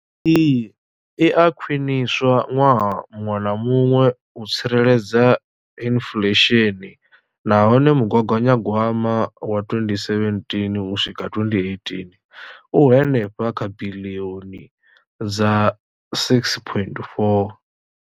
Iyi i a khwiniswa ṅwaha muṅwe na muṅwe u tsireledza inflesheni nahone mugaganyagwama wa 2017 u swika 2018 u henefha kha biḽioni dza R6.4.